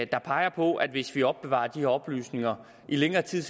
der peger på at hvis man opbevarer de her oplysninger i længere tid